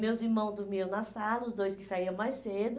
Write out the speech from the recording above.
Meus irmãos dormiam na sala, os dois que saíam mais cedo.